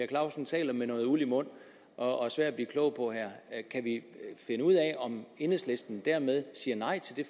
clausen taler med noget uld i mund og er svær at blive klog på her kan vi finde ud af om enhedslisten dermed siger nej til det